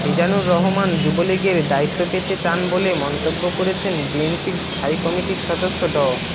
মীজানুর রহমান যুবলীগের দায়িত্ব পেতে চান বলে মন্তব্য করেছেন বিএনপির স্থায়ী কমিটির সদস্য ড